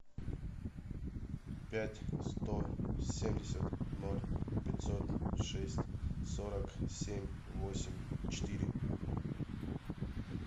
пять сто семьдесят ноль пятьсот шесть сорок семь восемь четыре